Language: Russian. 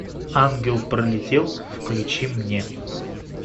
ангел пролетел включи мне